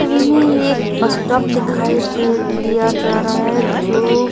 छवि में एक bus stop दिखाई दे दिया जा रहा है जो --